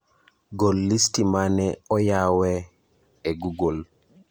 Gol listi mane oyawe e google